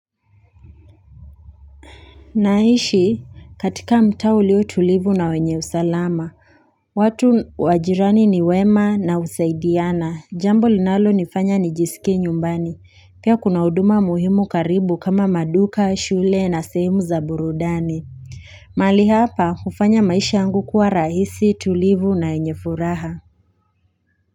Naishi katika mtaa ulio tulivu na wenye usalama, watu wa jirani ni wema na husaidiana, jambo linalo nifanya nijisikie nyumbani, pia kuna huduma muhimu karibu kama maduka, shule na sehimu za burudani. Mahali hapa, hufanya maisha yangu kuwa rahisi tulivu na yenye furaha.